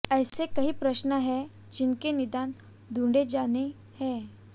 ऐसे कई प्रश्न है जिनके निदान ढूंढे जाने हैं